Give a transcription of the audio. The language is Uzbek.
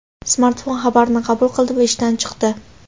Smartfon xabarni qabul qildi va ishdan chiqdi.